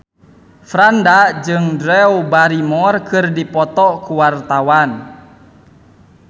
Franda jeung Drew Barrymore keur dipoto ku wartawan